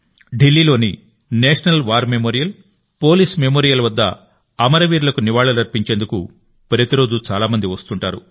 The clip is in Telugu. ఢిల్లీలోని national war memorial police memorial వద్ద అమరవీరులకు నివాళులర్పించేందుకు ప్రతిరోజూ చాలా మంది వస్తుంటారు